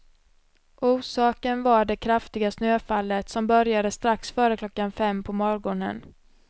Orsaken var det kraftiga snöfallet som började strax före klockan fem på morgonen.